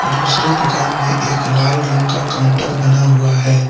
दूसरे दुकान में एक लाल रंग का काउंटर बना हुआ है।